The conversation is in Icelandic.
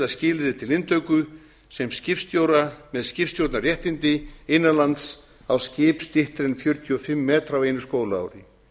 skilyrði til inntöku sem skipstjóra með skipstjórnarréttindi innan lands á skip styttri en fjörutíu og fimm metra á einu skólaári